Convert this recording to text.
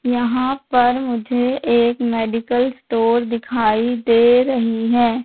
यहां पर मुझे एक मेडिकल स्टोर दिखाई दे रही है।